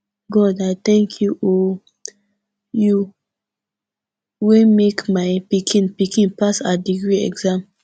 god i tank you o you wey make my pikin pikin pass her degree exam